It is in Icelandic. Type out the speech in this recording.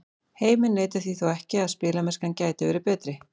Heimir neitar því þó ekki að spilamennskan gæti verið betri.